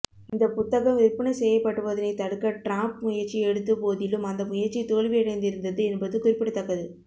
இந்த புத்தகம் விற்பனை செய்யப்படுவதனை தடுக்க டராம்ப் முயற்சி எடுத்து போதிலும் அந்த முயற்சி தோல்வியடைந்திருந்தது என்பது குறிப்பிடத்தக்கது